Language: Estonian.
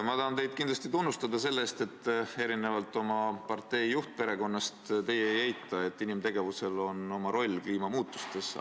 Ma tahan teid kindlasti tunnustada selle eest, et erinevalt oma partei juhtperekonnast teie ei eita, et inimtegevusel on oma roll kliimamuutustes.